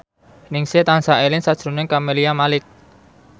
Ningsih tansah eling sakjroning Camelia Malik